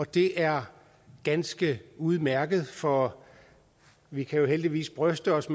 det er ganske udmærket for vi kan heldigvis bryste os